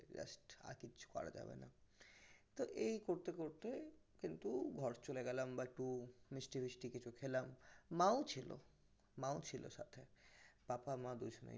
আর কিছু করা যাবে না তো এই করতে করতে কিন্তু ঘর চলে গেলাম বা একটু মিষ্টি মিষ্টি খেলাম ছিল মা ও ছিল মাও ছিল সাথে পাপা মা দুজনেই